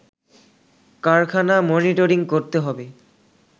কারখানা মনিটরিং করতে হবে